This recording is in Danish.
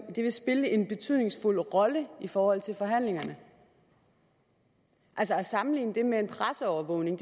og det vil spille en betydningsfuld rolle i forhold til forhandlingerne altså at sammenligne det med en presseovervågning